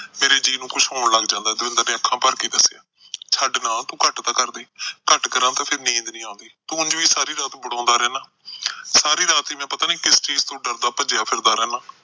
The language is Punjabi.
ਮੇਰੇ ਜੀਅ ਨੂੰ ਕੁਛ ਹੋਣ ਲੱਗ ਜਾਂਦਾ। ਦਵਿੰਦਰ ਨੇ ਅੱਖਾਂ ਭਰ ਕੇ ਦੱਸਿਆ। ਛੱਡ ਨਾ, ਤੂੰ ਘੱਟ ਤਾਂ ਕਰਦੇ। ਘੱਟ ਕਰਾਂ ਤਾਂ ਫਿਰ ਨੀਂਦ ਨੀ ਆਉਂਦੀ। ਤੂੰ ਉਝ ਹੀ ਸਾਰੀ ਰਾਤ ਬੜਾਉਂਦਾ ਰਹਿੰਦਾ ਸਾਰੀ ਰਾਤ ਪਤਾ ਨੀ ਕਿਸ ਚੀਜ ਤੋਂ ਡਰਿਆ ਭੱਜਦਾ ਫਿਰਦਾ ਰਹਿੰਦਾ।